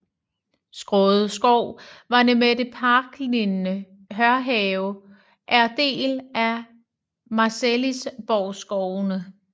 Skåde Skov med det parklignende Hørhaven er del af Marselisborgskovene